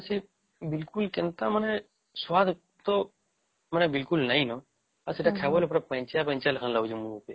ସେ ସେ ବିଲକୁଲ କେନ୍ତା ମାନେ ସ୍ୱାଦ ତ ମାନେ ବିଲକୁଲ ନାଇଁ ନ ଆଉ ସେଟା ଖାଇବାର ଖାଲି ପାଣିଚିଆ ପାଣିଚିଆ ଲାଗୁଛେ ମୁହଁ କେ